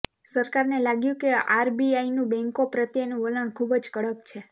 સરકારને લાગ્યું કે આરબીઆઈનું બૅન્કો પ્રત્યેનું વલણ ખૂબ જ કડક છે